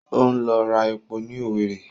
Óńlọ ra epo ní Owerri